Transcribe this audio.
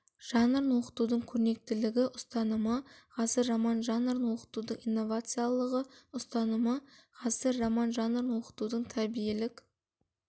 жанрын оқытудың көрнекілілігі ұстанымы ғасыр роман жанрын оқытудың инновациялылығы ұстанымы ғасыр роман жанрын оқытудың тәрбиелік